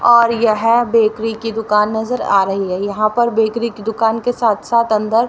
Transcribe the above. और यह बेकरी की दुकान नजर आ रही है यहां पर बेकरी की दुकान के साथ साथ अंदर--